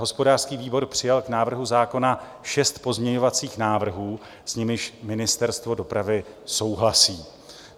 Hospodářský výbor přijal k návrhu zákona šest pozměňovacích návrhů, s nimiž Ministerstvo dopravy souhlasí.